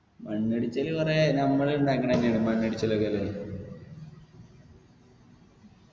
മണ്ണിടിച്ചല് കൊറേ നമ്മളിണ്ടാക്കണ തന്നെയാണ് മണ്ണിടിച്ചലൊക്കെ